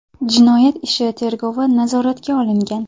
Jinoyat ishi tergovi nazoratga olingan.